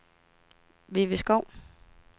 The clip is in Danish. Vivi Skov